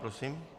Prosím.